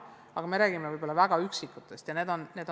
Kuid me räägime väga üksikutest perekondadest.